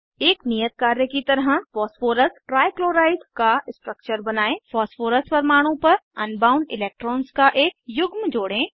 एक नियत कार्य की तरह फॉस्फोरस ट्राईक्लोराइड का स्ट्रक्चर बनायें फॉस्फोरस परमाणु पर अनबाउंड इलेक्ट्रॉन्स का एक युग्म जोड़ें